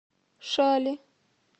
шали